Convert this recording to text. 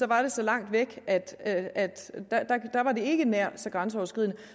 var det så langt væk at at der var det ikke nær så grænseoverskridende